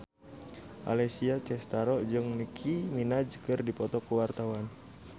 Alessia Cestaro jeung Nicky Minaj keur dipoto ku wartawan